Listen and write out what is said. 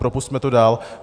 Propusťme to dál.